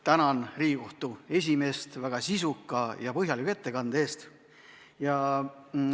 Tänan Riigikohtu esimeest väga sisuka ja põhjaliku ettekande eest!